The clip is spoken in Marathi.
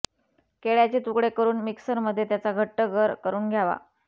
केळ्याचे तुकडे करून मिक्सरमध्ये त्याचा घट्ट गर करून घ्यावा